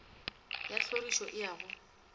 ya tlhorišo e a go